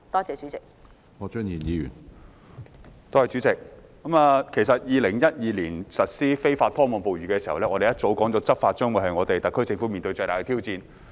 在2012年實施禁止非法拖網捕魚活動時，業界已表示這將是特區政府面對的最大執法挑戰。